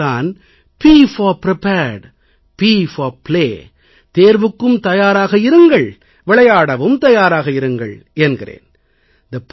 ஆகையால் தான் ப் போர் பிரிபேர்ட் ப் போர் பிளே தேர்வுக்கும் தயாராக இருங்கள் விளையாடவும் தயாராக இருங்கள் என்கிறேன்